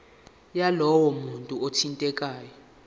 yalowo muntu othintekayo